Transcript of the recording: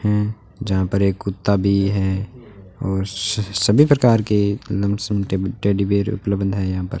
हैं यहां पर एक कुत्ता भी है और स सभी प्रकार के लमसम टे टेडी बेयर उपलब्ध हैं यहां पर।